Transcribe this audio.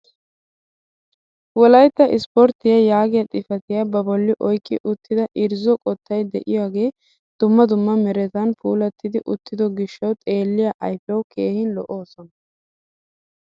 Wolaytta isporttiyaa yaagiyaa xifatiyaa ba bolli oyqqi uttida irzzo qottay de'iyogee dumma dumma meratun puulattidi uttido giishshawu xeelliyaa ayfiyawu keehi lo"oosona.